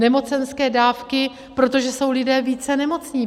Nemocenské dávky, protože jsou lidé více nemocní.